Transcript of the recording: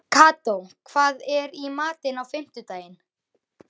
Kató, hvað er í matinn á fimmtudaginn?